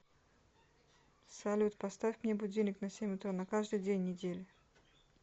салют поставь мне будильник на семь утра на каждый день недели